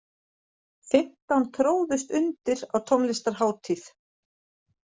Fimmtán tróðust undir á tónlistarhátíð